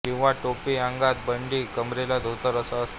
किंवा टोपी अंगात बंडी कंबरेला धोतर असा असतो